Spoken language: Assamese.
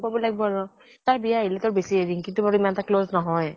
কব লাগ্ ব আৰু। তাইৰ বিয়া আহিলে তো বেছিয়ে, ৰিঙ্কি তো বাৰু ইমান এটা বেছি close নহয়।